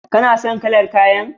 Kana son kalar kayan?